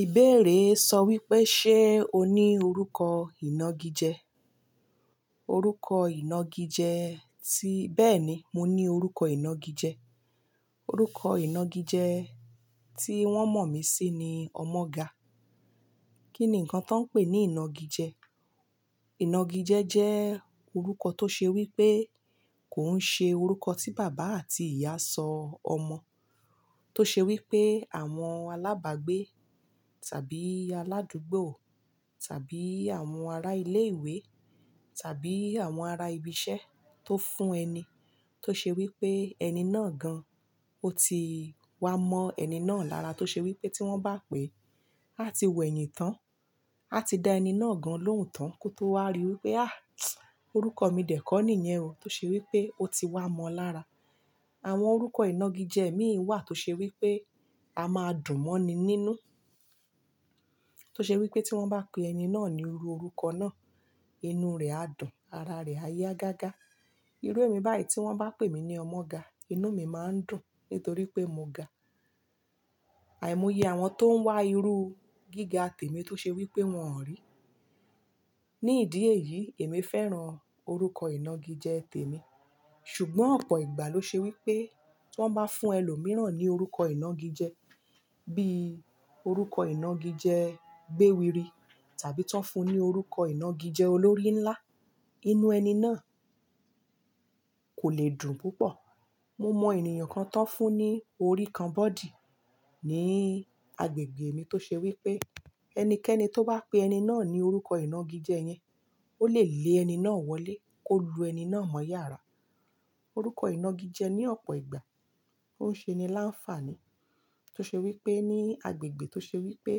Ìbéèrè sọ wípé, "Ṣé o ní orúkọ ìnagijẹ?" Orúkọ ìnagijẹ ti-- bẹ́ẹ̀ni, mo ní orúkọ ìnagijẹ. Orúkọ ìnagijẹ tí wón mọ̀ mí sí ni Ọmọga. Kí ni ǹkan tan ń pè ní ìnagijẹ? Ìnagijẹ jẹ́ orúkọ tó ṣe wípé kò ń ṣe orúkọ tí bàbá àti ìyá sọ ọmọ. Tó ṣe wípé àwọn alábàgbé tàbí aládùúgbò tàbí àwọn ará ilé ìwé tàbí àwọn ará ibi iṣẹ́ tó fún ẹni, tó ṣe wípé ẹni náà gan, ó ti wá mọ ẹni náà lára tó ṣe wípé tí wọ́n bá pè, á ti wẹ̀yìn tán, á ti da ẹni náà gan lóhùn tán kó tó wá rí wípé, "À! Orúkọ mi dẹ̀ kọ́ nìyẹn o." Tó ṣe wípé ó ti wá mọ lára. Àwọn orúkọ ìnagijẹ mìí wà tó ṣe wípé a máa dùn mọ́ ni nínú. Tó ṣe wípé tí wọ́n bá pe ẹni náà ní irú orúkọ náà, inú rẹ̀ a dùn ara rẹ̀ a yá gágá. Irú èmi báyìí tí wọ́n bá pè mí ní Ọmọga, inú mi máa ń dùn nítorí pé mo ga. Àìmọye àwọn tó ń wá irú gíga tèmi tó ṣe wípé wọ́n-on rí. Ni ìdí èyí, èmi fẹ́ràn orúkọ ìnagijẹ tèmi. Ṣùgbọ́n ọ̀pọ̀ ìgbà ló ṣe wípé tí wọ́n bá fún ẹlòmíràn ní orúkọ ìnagijẹ bí i orúkọ ìnagijẹ gbéwiri tàbí tan fún ní orúkọ ìnagijẹ olórí ńlá, inú ẹni náà kò lè dùn púpọ̀. Mo mọ ènìyàn kan tan fún ní oríkanbọ̀dí ní agbègbè mi tó ṣe wípé ẹnikẹ́ni tó bá pe ẹni náà ní orúkọ ìnagijẹ yẹn, ó lè lé ẹni náà wọlé, kó lu ẹni náà mọ́ yàrá. Orúkọ ìnagijẹ ní ọ̀pọ̀ ìgbà, ó ń ṣe ni láǹfààní. Tó ṣe wípé ní agbègbè tó ṣe wípé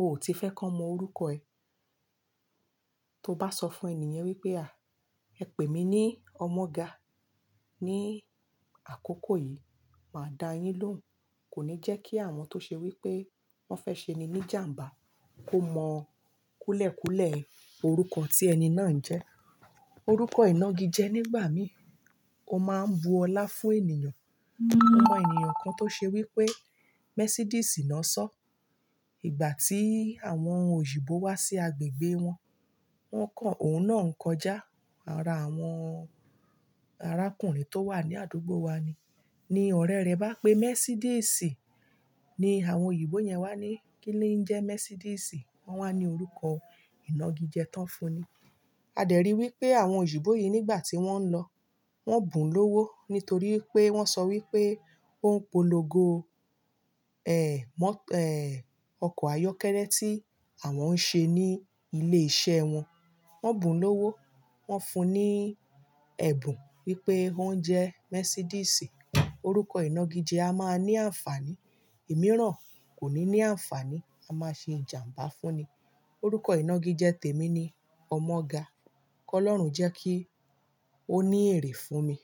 o ò tí fẹ́ kàn mọ orúkọ ẹ. Tó bá sọ fún ènìyàn wípé, "À! Ẹ pè mí ní Ọmọga ní àkókò yìí, màá dá yín lóhùn." Kò ní jẹ́ kí àwọn tó ṣe wípé wọ́n fẹ́ ṣe ni ní jàmbá kó mọ kúlẹ̀ kúlẹ̀ orúkọ tí ẹni náà ń jẹ́. Orúkọ ìnagijẹ nígbà mí ò máa ń bu ọlá fún ènìyàn. Mo mọ ènìyàn kan tó ṣe wípé Mẹ́sídiísì ná sọ, ìgbàtí àwọn òyibó wá sí agbègbè wọn, wọ́n kò òun náà ń kọjá ara àwọn arákùnrin tó wà ní àdúgbò wa ni. Ni ọ̀rẹ́ rẹ̀ bá pé Mẹ́sídiísì, ni àwọn òyìnbó yẹn wá ní kí ni ń jẹ́ Mẹ́sídiísì? Wọ́n wá ní orúkọ ìnagijẹ tan fún ni. A dẹ̀ rí i wípé àwọn òyìnbó yìí nígbà tí wọ́n ń lọ, wọ́n bùn lówó nítorí pé wọ́n sọ wípé ó ń polongo, mọ́-- ọkọ̀ ayọ́kẹ́lẹ́ tí àwọn ń ṣe ní ilé iṣẹ́ wọn. Wọn bùn lówó, wọ́n fún ní ẹ̀bùn wípé ó ń jẹ́ Mẹ́sídiísì. Orúkọ ìnagijẹ a máa ní àǹfààní, ìmíràn kò ní ní àǹfààní, a máa ṣe ìjàmbá fún ni. Orúkọ ìnagijẹ tèmi ni Ọmọga. Kọ́lọ́run jẹ́ kí ó ní èrì fún mi.